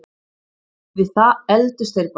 Við það efldust þeir bara.